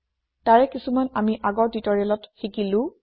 তাৰে কিছুমান আমি আগৰ টিওটৰিয়েলত শিকিলো